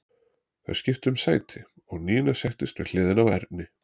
Þau skiptu um sæti og Nína settist við hliðina á Erni.